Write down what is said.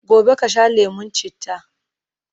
gobe kasha lemun chitta!